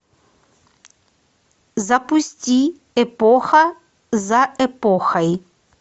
запусти эпоха за эпохой